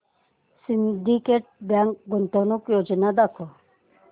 Syndicate Bank गुंतवणूक योजना दाखव